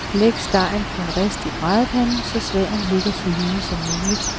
Læg stegen på en rist i bradepanden, så sværen ligger så lige som muligt.